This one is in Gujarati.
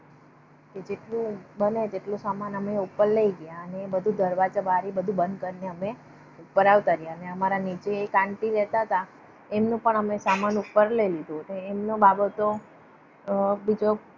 કે જેટલૂ બને એટલો સમાન અમે ઉપર લઇ ગયા અને બધુ દરવાજો બારી બધું બંધ કરી ને અમે ઉપર આવતા રહિયા. અને અમારા નીચે એક aunty રહેતા હતા. તેમનો પણ સામાન ઉપર લઇ લીધો એમનો એમનો બાબો તો બીજો